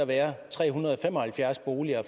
være tre hundrede og fem og halvfjerds boliger